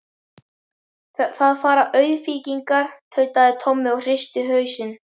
Þar fara auðkýfingarnir, tautaði Tommi og hristi hausinn.